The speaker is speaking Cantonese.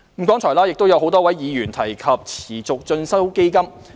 剛才亦有多位議員提及持續進修基金。